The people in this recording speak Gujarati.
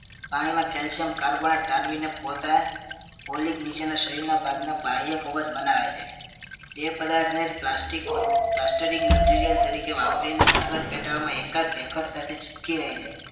પાણીમાં calcium carbonate તારવીને પોતાને polyp નીચેના શરીરના ભાગમાં બાહ્ય કવચ બનાવે છે. તે પદાર્થને જ plastic plastering material તરીકે વાપરીને સાગર પેટાળમાં એકાદ ભેખડ સાથે ચિપકી રહે છે